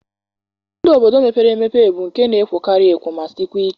Ndụ obodo mepere emepe bụ nke na-ekwokarị ekwo ma sikwa ike.